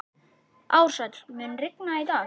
Ársæl, mun rigna í dag?